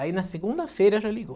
Aí na segunda-feira já ligou.